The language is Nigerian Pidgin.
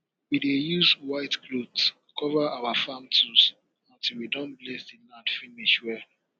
we dey use white cloth cover our farm tools until we don bless the land finish well